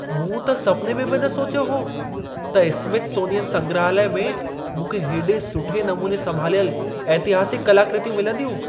मूं त सपिने में बि न सोचियो हो त स्मिथसोनियन संग्रहालय में मूंखे हेॾे सुठे नमूने संभालियल ऐतिहासिक कलाकृतियूं मिलंदियूं।